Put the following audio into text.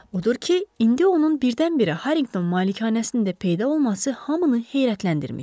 Odur ki, indi onun birdən-birə Harrington malikanəsində də peyda olması hamını heyrətləndirmişdi.